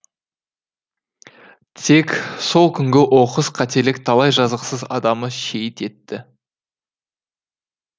тек сол күнгі оқыс қателік талай жазықсыз адамды шейіт етті